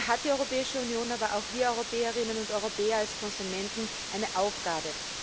Hier haben die Europäische Union, aber auch wir Europäerinnen und Europäer als Konsumenten eine Aufgabe.